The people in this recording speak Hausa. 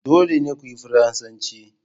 Dole ne ku koyi Faransanci